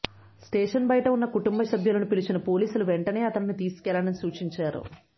station బయట ఉన్న కుటుంబసభ్యులను పిలిచిన పోలీసులు వెంటనే అతనిని తీసుకెళ్లాలని సూచించారు